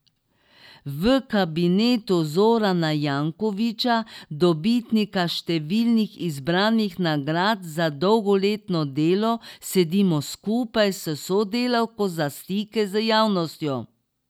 V kabinetu Zorana Jankovića, dobitnika številnih izbranih nagrad za dolgoletno delo, sedimo skupaj s sodelavko za stike z javnostjo.